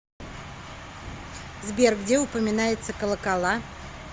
сбер где упоминается колокола